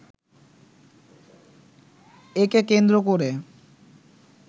একে কেন্দ্র করে